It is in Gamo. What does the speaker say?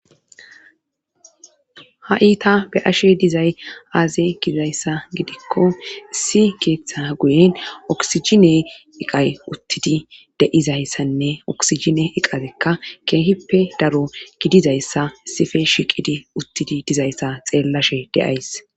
Ha iita be ashe dizay aaze gidizayssa gidikko issi keeththa guyen oksijine iqay uttidi de'izayssanne oksijine iqazekka keehippe daro gidizayssa sife shiqidi uttidi dizayssa xeellashe deays